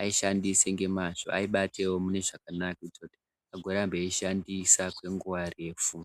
aishandise ngemazvo, aibatewo mune zvakanaka kuitira kuti agorambe eiishandisa kwenguwa refu.